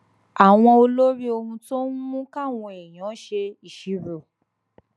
àwọn olórí ohun tó ń mú káwọn èèyàn ṣe ìṣirò